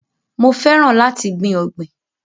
Mo fẹ́ràn láti gbìn ọ̀gbìn.